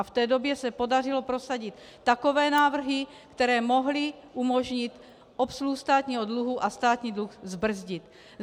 A v té době se podařilo prosadit takové návrhy, které mohly umožnit obsluhu státního dluhu a státní dluh zbrzdit.